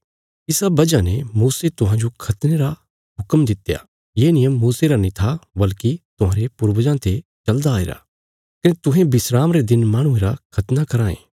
इसा वजह ने मूसे तुहांजो खतने रा हुक्म दित्या ये नियम मूसे रा नीं था बल्कि तुहांरे पूर्वजां ते चलदा आईराँ कने तुहें विस्राम रे दिन माहणुये रा खतना कराँ ये